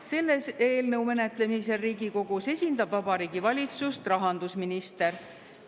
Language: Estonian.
Selle eelnõu menetlemisel Riigikogus esindab Vabariigi Valitsust rahandusminister.